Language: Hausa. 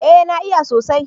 eh na iya sosaj